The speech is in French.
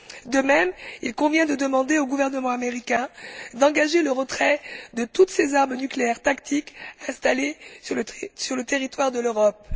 De même, il convient de demander au gouvernement américain d'engager le retrait de toutes ses armes nucléaires tactiques installées sur le territoire de l'Europe.